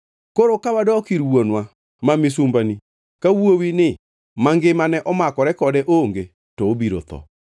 “Koro ka wadok ir wuonwa ma misumbani ka wuowini mangimane omakore kode onge to obiro tho,